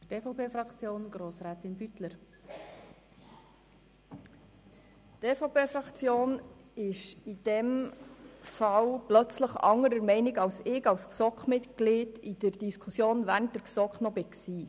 Die EVP-Fraktion ist in diesem Fall plötzlich anderer Meinung als ich sie während den Diskussionen in der GSoK als Kommissionsmitglied noch hatte.